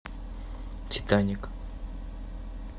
титаник